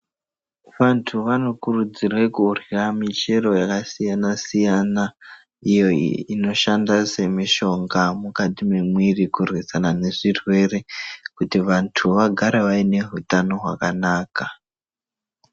Vantu vanokurudzirwa kurya michero yakasiyana siyana ito inoshanda semishonga mukati memwiri kurwisana ngezvirwere kuti vantu vagare vaine hutano hwakanaka.